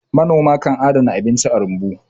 manoma kan adana abinci a rumbu